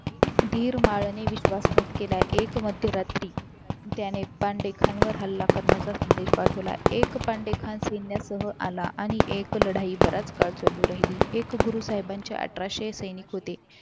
दीर माळाने विश्वासघात केला एक मध्यरात्री त्याने पांडे खान वर हल्ला करण्याचा संदेश पाठवला एक पांडे खान सैन्यासोबत आला आणि आणि एक लढाई बराच काळ चालू राहिली एक गुरु साहेबांचे अठराशे सैनिक होते